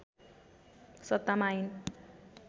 सत्तामा आइन्